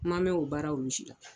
Ma mɛn o baara olu si la.